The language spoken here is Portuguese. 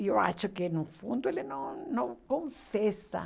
E eu acho que, no fundo, ele não não confessa.